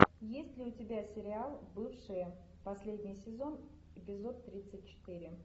есть ли у тебя сериал бывшие последний сезон эпизод тридцать четыре